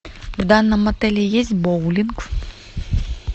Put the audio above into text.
в данном отеле есть боулинг